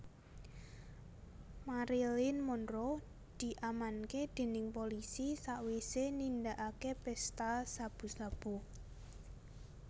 Marilyn Monroe diamanke dening polisi sakwise nindakake pesta sabu sabu